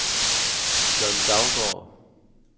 John Daugaard